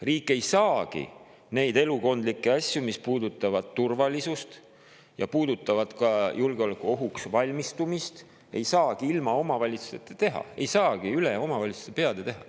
Riik ei saagi neid elukondlikke asju, mis puudutavad turvalisust ja ka julgeolekuohuks valmistumist, ilma omavalitsusteta teha, ta ei saagi neid üle omavalitsuste peade teha.